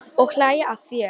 Og hlæja að þér.